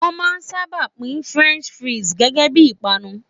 Won maa n saba pin French fries gege bii ipanu